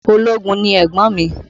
Ológun ni ẹ̀gbọ́n mi